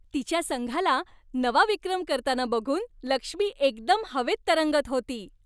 तिच्या संघाला नवा विक्रम करताना बघून लक्ष्मी एकदम हवेत तरंगत होती.